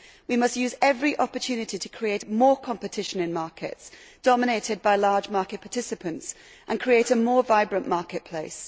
We must use every opportunity to create more competition in markets dominated by large market participants and create a more vibrant marketplace.